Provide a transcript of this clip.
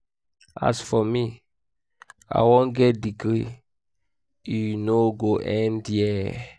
as for me i wan get masters degree e no go end here